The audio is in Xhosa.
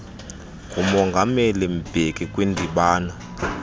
ngumongameli mbeki kwindibano